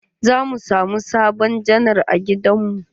Za mu samu sabon janar a gidan mu.